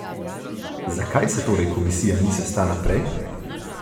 Zakaj se torej komisija ni sestala prej?